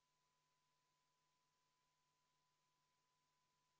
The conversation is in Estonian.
Ettepaneku poolt on 42 Riigikogu liiget, vastu 48 ja erapooletuid on 2.